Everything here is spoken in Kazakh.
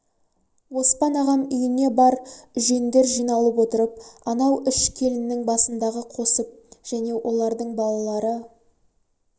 оспан ағам үйіне бар үжендер жиналып отырып анау үш келіннің басындағы қосып және олардын балалары